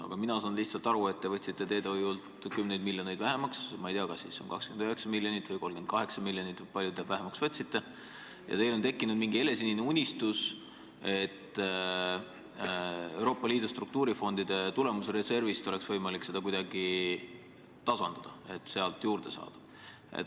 Aga mina saan aru nii, et te lihtsalt võtsite teedehoiult kümneid miljoneid vähemaks – ma ei tea, kas 29 miljonit või 38 miljonit või kui palju te vähemaks võtsite – ja teil on tekkinud helesinine unistus, et Euroopa Liidu struktuurifondide tulemusreservi abil on võimalik olukorda kuidagi tasandada, sealt on võimalik raha juurde saada.